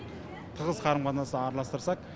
тығыз қарым қатынас араластырсақ